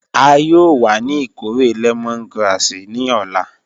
A yoo wa ni ikore lemongrass ni ọla.